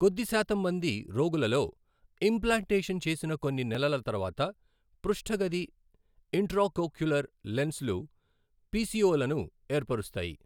కొద్ది శాతం మంది రోగులలో, ఇంప్లాంటేషన్ చేసిన కొన్ని నెలల తర్వాత పృష్ఠ గది ఇంట్రాకోక్యులర్ లెన్స్లు పిసిఓలను ఏర్పరుస్తాయి.